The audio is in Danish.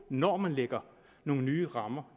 når man lægger nogle nye rammer